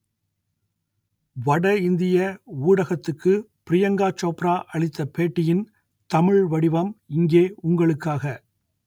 வடஇந்திய ஊடகத்துக்கு ப்ரியங்கா சோப்ரா அளித்த பேட்டியின் தமிழ் வடிவம் இங்கே உங்களுக்காக